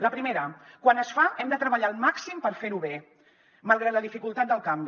la primera quan es fa hem de treballar al màxim per fer ho bé malgrat la dificultat del canvi